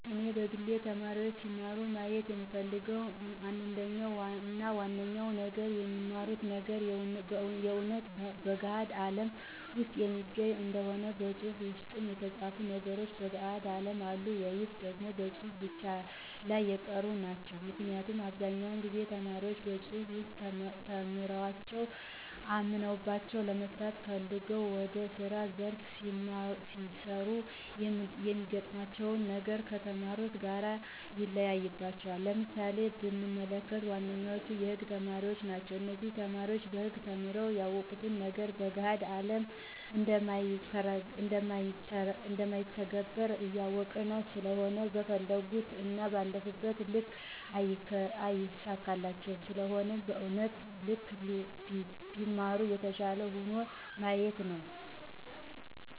እኔ በግሌ ተማሪዎች ሲማሩ ማየት የምፈልገው አንደኛው እና ዋነኛው ነገር የሚማሩት ነገር የእውነት በገሀድ አለም ውስጥ የሚገኝ እንዲሆን መፅሃፍ ውስጥ የተፃፉ ነገሮች በገሀዱ አለም አሉ ወይስ ደግሞ በመፅሃፉ ብቻ ላይ የቀሩ ናቸው? ምክንያቱም በአብዛኛው ጊዜ ተማሪዎች በመፅሐፍ ውስጥ ተምረዋቸው አምነውባቸው ለመስራት ፈልገው ወደ ስራ ዘርፍ ሲሰማሩ የሚገጥማቸው ነገር ከተማሩት ጋር ይለያይባቸዋል። ለምሳሌ ብንመለከት ዋነኞቹ የህግ ተማሪዎች ናቸው እነዚህ ተማሪዎች በህግ ተምረው ያወቁት ነገር በገሀድ ላይ እንደማይተገበር ያውቃሉ ስለሆነም በፈለጉት እና ባለፉበት ልክ አይሳካላቸውም ስለሆነም በእውነታው ልክ ቢማሩ የተሻለ ይሆናል ማለት ነው